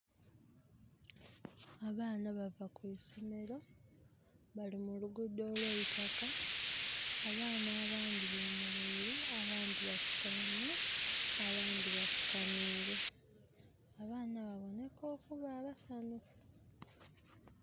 Abaana bava kwisomero bali mulugudho olweitaka abaana abandhi bemereire abandhi basutaime abandi bafukamire. Abaana babonheka okuba abasanhufu.